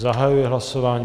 Zahajuji hlasování.